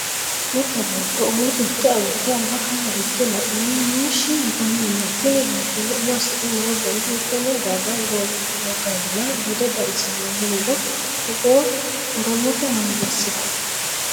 mitte beetto umo tirte agurte alba kawa higge la'anni muushshi yitanni no.tini beettono umo assidhe noo gari hiittenne daga woganna bude xawisanno yiniro togo oromote manni assiranno.